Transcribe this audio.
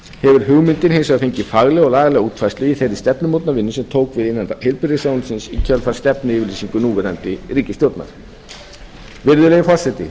hefur hugmyndin hins vegar fengið faglega og lagalega útfærslu í þeirri stefnumótunarvinnu sem tók við innan heilbrigðisráðuneytisins í kjölfar stefnuyfirlýsingar núverandi ríkisstjórnar virðulegi forseti